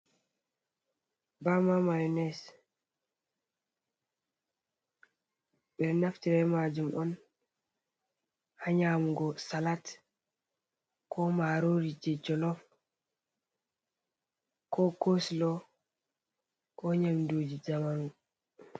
Bama Maiones Ɓedou Naftira be majum on ha Nyamugo Salat, Ko Marori, Je Jolof ko Couscous Ko Nyamduji Jamanu.